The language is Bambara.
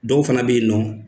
Dɔw fana bɛ yen nɔ